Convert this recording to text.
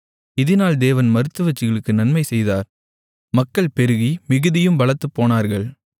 இதினால் தேவன் மருத்துவச்சிகளுக்கு நன்மைசெய்தார் மக்கள் பெருகி மிகுதியும் பலத்துப்போனார்கள்